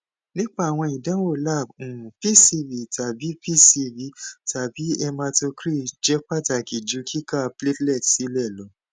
nipa awọn idanwo lab um pcv tabi pcv tabi hematocrit jẹ pataki ju kika platelet silẹ lọ